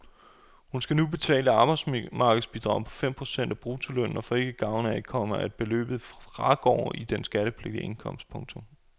Hun skal nu betale arbejdsmarkedsbidrag på fem procent af bruttolønnen og får ikke gavn af, komma at beløbet fragår i den skattepligtige indkomst. punktum